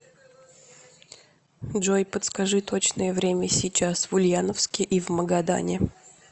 джой подскажи точное время сейчас в ульяновске и в магадане